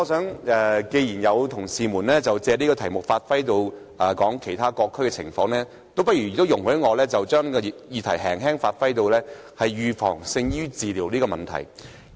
不過，既然有同事借此題目帶出其他各區的情況，也容許我就此議題轉為談論預防勝於治療的題目。